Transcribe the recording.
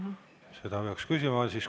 Seda peaks küsima.